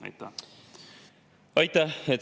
Aitäh!